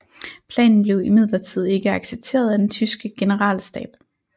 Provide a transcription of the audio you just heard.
Planen blev imidlertid ikke accepteret af den tyske generalstab